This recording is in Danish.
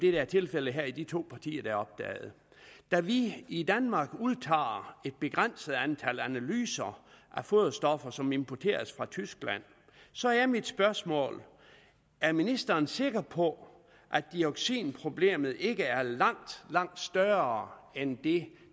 er tilfældet i de to partier der er opdaget da vi i danmark udtager et begrænset antal analyser af foderstoffer som importeres fra tyskland så er mit spørgsmål er ministeren sikker på at dioxinproblemet ikke er langt langt større end det